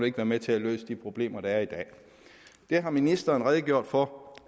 ikke være med til at løse de problemer der er i dag det har ministeren redegjort for